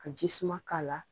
Ka ji suma k'a la